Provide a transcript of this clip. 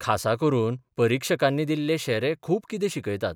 खासा करून परिक्षकांनी दिल्ले शेरे खूब कितें शिक्यतात.